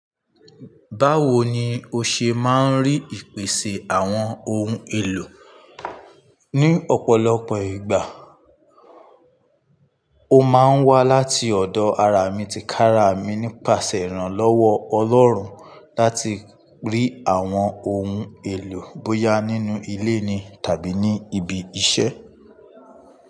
Báwo ni o ṣe máa ń rí ìpèsè àwọn ohun èlò? Ni ọ̀pọ̀lọpọ̀ ìgbà, ó máa ń wá láti ọ̀dọ̀ ará mi ti kára mi nípasẹ̀ ìrànlọ́wọ́ Ọlọ́run láti rí àwọn ohun èlò bóyá nínú ilé ni tàbí ní ibi iṣẹ́.